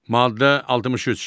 Maddə 63.